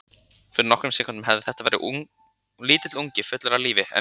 Fyrir nokkrum sekúndum hafði þetta verið lítill ungi fullur af lífi en nú.